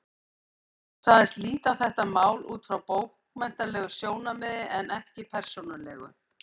Hún sagðist líta á þetta mál út frá bókmenntalegu sjónarmiði en ekki persónulegu.